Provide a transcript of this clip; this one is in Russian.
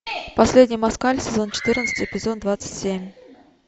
последний москаль сезон четырнадцать эпизод двадцать семь